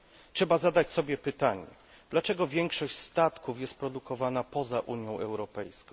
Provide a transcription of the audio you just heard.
Trzeba zadać sobie pytanie Dlaczego większość statków jest produkowana poza Unią Europejską?